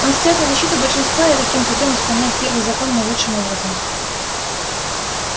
он встаёт на защиту большинства и таким путём исполняет первый закон наилучшим образом